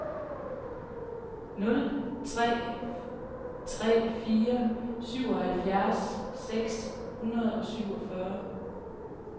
nul tre tre fire syvoghalvfjerds seks hundrede og syvogfyrre